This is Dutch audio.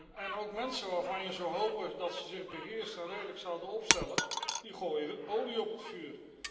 En ook mensen waarvan je zou hopen dat ze zich beheerst en redelijk zouden opstellen, gooien olie op het vuur.